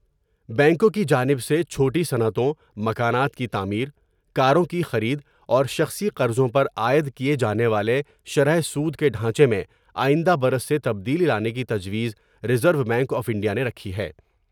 بینکوں کی جانب سے چھوٹی صنعتوں مکانات کی تعمیر کاروں کی خرید اورشخصی قرضوں پر عائد کیے جانے والے شرح سود کے ڈھانچے میں آئندہ برس سے تبدیلی لانے کی تجویز reserve bank of India نے رکھی ہے ۔